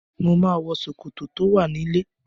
Mo máa wọ ṣòkòtò tó wà nílé.